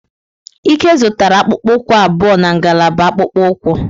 Ike zụtara akpụkpọ ụkwụ abụọ na ngalaba akpụkpọ ụkwụ.